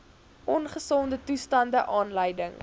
ongesonde toestande aanleiding